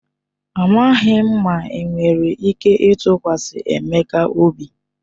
Amaghị m ma enwere ike ịtụkwasị Emeka obi..